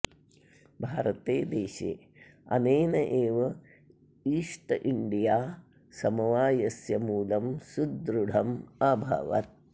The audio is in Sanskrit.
भारते देशे अनेन एव ईस्ट् इण्डिया समवायस्य मूलं सुदृढम् अभवत्